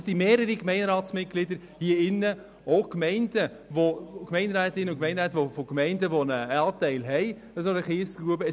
Es sind hier mehrere Gemeinderatsmitglieder anwesend, deren Gemeinden einen Anteil an einer solchen Kiesgrube haben.